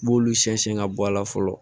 I b'olu sɛnsɛn ka bɔ a la fɔlɔ